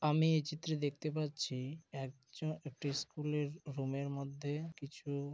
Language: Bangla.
আমি এই চিত্রে দেখতে পাচ্ছি একজন একটি স্কুল -এর রুম এর মধ্যে কিছু--